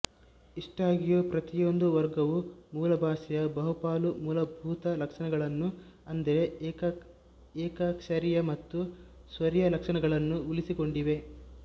ಇಷ್ಟಾಗಿಯೂ ಪ್ರತಿಯೊಂದು ವರ್ಗವೂ ಮೂಲಭಾಷೆಯ ಬಹುಪಾಲು ಮೂಲಭೂತ ಲಕ್ಷಣಗಳನ್ನು ಅಂದರೆ ಏಕಾಕ್ಷರೀಯ ಮತ್ತು ಸ್ವರೀಯ ಲಕ್ಷಣಗಳನ್ನು ಉಳಿಸಿಕೊಂಡಿವೆ